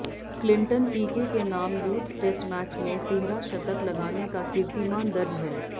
Clinton P K के नाम youth test match में तिहरा शतक लगाने का कीर्तिमान दर्ज है